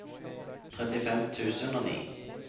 trettifem tusen og ni